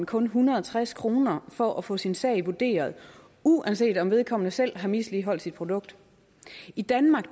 kun en hundrede og tres kroner for at få sin sag vurderet uanset om vedkommende selv har misligholdt sit produkt i danmark